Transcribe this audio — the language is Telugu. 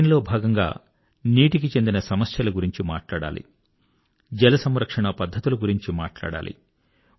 దీనిలో భాగంగా నీటికి చెందిన సమస్యల గురించి మాట్లాడాలి జలసంరక్షణా పద్ధతుల గురించి మాట్లాడాలి